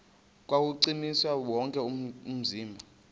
kuwuchukumisa wonke umzimba